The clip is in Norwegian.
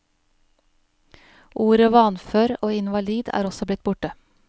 Ordet vanfør og invalid er også blitt borte.